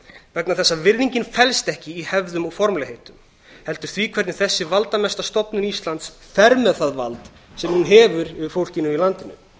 vegna þess að virðingin felst ekki í hefðum og formlegheitum heldur því hvernig þessi valdamesta stofnun íslands fer með það vald sem hún hefur yfir fólkinu í landinu